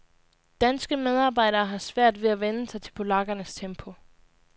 Danske medarbejdere har svært ved at vænne sig til polakkernes tempo.